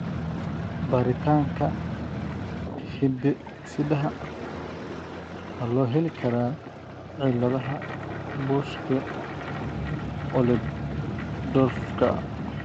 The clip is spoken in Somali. Baaritaanka hidde-sidaha ma loo heli karaa ciladaha Buschke Ollendorffka ?